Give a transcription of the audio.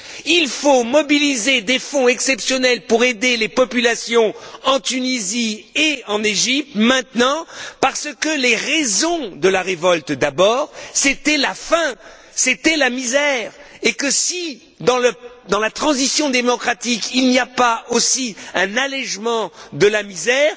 Il faut mobiliser des fonds exceptionnels pour aider maintenant les populations en Tunisie et en Égypte, parce que les raisons de la révolte, c'était d'abord la faim, c'était la misère, et que si, dans la transition démocratique, il n'y a pas aussi un allègement de la misère,